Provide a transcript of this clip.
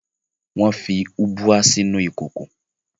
Wọ́n fi ubwa sínú ìkòkò